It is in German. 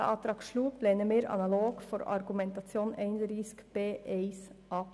Diesen Antrag lehnen wir analog der Argumentation zu Artikel 31b der Minderheit I ab.